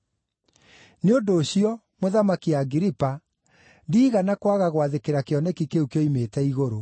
“Nĩ ũndũ ũcio, Mũthamaki Agiripa, ndiigana kwaga gwathĩkĩra kĩoneki kĩu kĩoimĩte igũrũ.